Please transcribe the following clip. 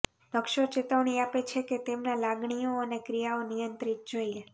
નકશો ચેતવણી આપે છે કે તેમના લાગણીઓ અને ક્રિયાઓ નિયંત્રિત જોઈએ